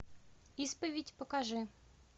исповедь покажи